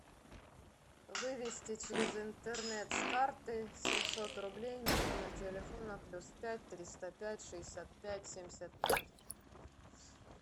вывести через интернет с карты семьсот рублей на номер телефона плюс пять триста пять шестьдесят пять семьдесят пять